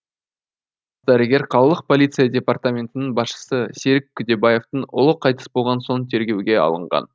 дәрігер қалалық полиция департаментінің басшысы серік күдебаевтың ұлы қайтыс болған соң тергеуге алынған